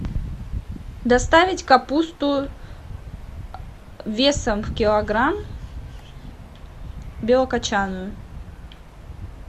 доставить капусту весом в килограмм белокочанную